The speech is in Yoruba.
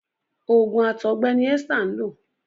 oògùn àtọgbẹ ní Esther nlọ.